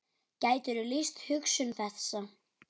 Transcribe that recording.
Gætirðu lýst hugsun þessa?